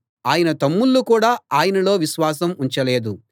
ఆయన తమ్ముళ్ళు కూడా ఆయనలో విశ్వాసం ఉంచలేదు